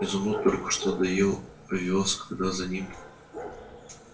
изумруд только что доел овёс когда за ним